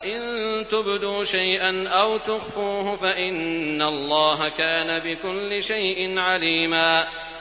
إِن تُبْدُوا شَيْئًا أَوْ تُخْفُوهُ فَإِنَّ اللَّهَ كَانَ بِكُلِّ شَيْءٍ عَلِيمًا